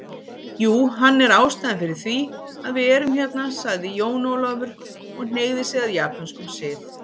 Jú, hann er ástæðan fyrir þv´iað við erum hérna sagði Jón Ólafur og hneigði sig að japönskum sið.